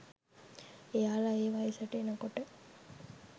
එයාල ඒ වයසට එනකොට